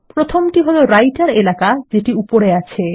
প্রথমটি হল রাইটের এলাকা যেটি উপরে আছে